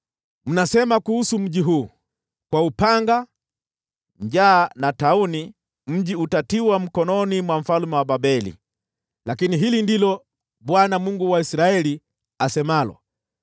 “Mnasema kuhusu mji huu, ‘Kwa upanga, njaa na tauni, mji utatiwa mkononi mwa mfalme wa Babeli,’ lakini hili ndilo Bwana , Mungu wa Israeli asemalo: